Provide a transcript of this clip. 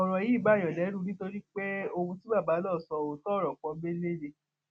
ọrọ yìí bààyàn lẹrù nítorí pé ohun tí bàbá náà sọ òótọ ọrọ pọńńbélé ni